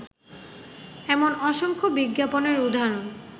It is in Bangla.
এমন অসংখ্য বিজ্ঞাপনের উদাহরণ